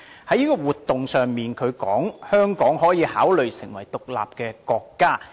他在活動中指出，香港可以考慮成為獨立國家。